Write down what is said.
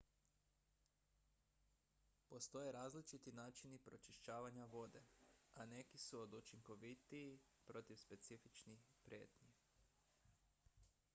postoje različiti načini pročišćavanja vode a neki su učinkovitiji protiv specifičnih prijetnji